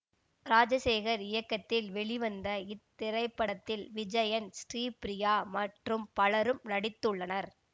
ராஜசேகர் இயக்கத்தில் வெளிவந்த இத்திரைப்படத்தில் விஜயன் ஸ்ரீபிரியா மற்றும் பலரும் நடித்துள்ளனர்